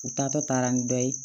U taatɔ taara ni dɔ ye